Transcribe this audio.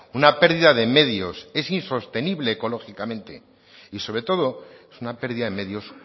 una pérdida de medios es insostenible ecológicamente y sobre todo es una pérdida de medios